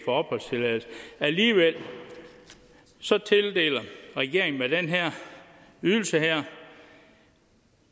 opholdstilladelse alligevel tildeler regeringen med den her ydelse